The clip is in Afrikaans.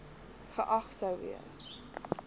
geag sou gewees